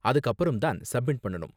அதுக்கு அப்பறம் தான் சப்மிட் பண்ணனும்.